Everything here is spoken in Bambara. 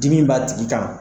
Dimi b'a tigi kan